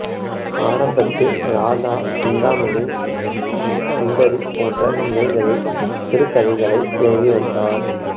ஆரம்பத்தில் ராதா சிந்தாமணி சுந்தரி போன்ற இதழ்களில் சிறுகதைகளை எழுதி வந்தார்